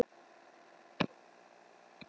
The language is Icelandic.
Sá sem gat haldið á hamri var smiður.